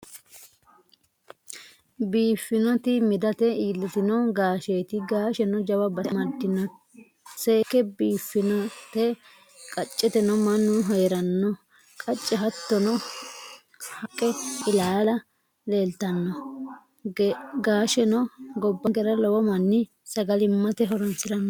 Biiffinoti midate iillitino gaaasheeti. Gaasheno jawa base amaddinoyenna seekke biiffinote. Qacceteno mannu heeranno qachi hattono haqqe ilaalla leeltanno. Gaasheno gobbankera lowo manni sagalimmate horonsiranno.